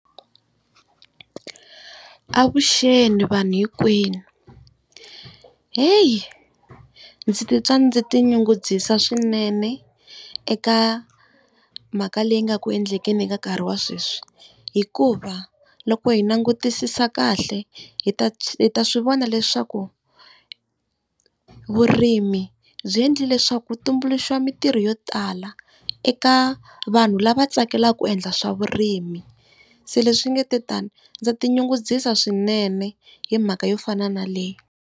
Avuxeni vanhu hinkwenu heyi ndzi titwa ndzi tinyungubyisa swinene eka mhaka leyi nga ku endlekela eka nkarhi wa sweswi. Hikuva loko hi langutisisa kahle hi ta ta swivona leswaku vurimi byi endli leswaku ku tumbuluxiwa mitirho yo tala eka vanhu lava tsakelaka ku endla swa vurimi. Se leswi nga te tani ndza tinyungubyisa swinene hi mhaka yo fana na leyi.